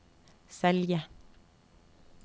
Selje